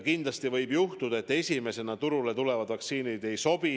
Kindlasti võib juhtuda, et esimesena turule tulevad vaktsiinid ei sobi.